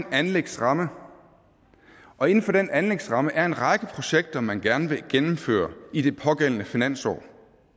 en anlægsramme og inden for den anlægsrammer er en række projekter man gerne vil gennemføre i det pågældende finansår